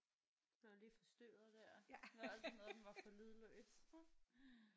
Nåh lige forstyrret der det var altid noget den var på lydløs